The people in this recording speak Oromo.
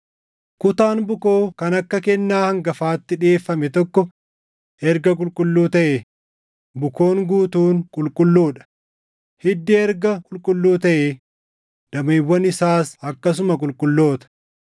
Kutaan bukoo kan akka kennaa hangafaatti dhiʼeeffame tokko erga qulqulluu taʼee, bukoon guutuun qulqulluu dha; hiddi erga qulqulluu taʼee, dameewwan isaas akkasuma qulqulloota.